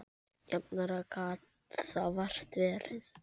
Jafnara gat það vart verið.